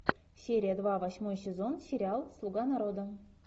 серия два восьмой сезон сериал слуга народа